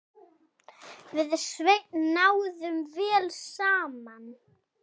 Við Sveinn náðum vel saman.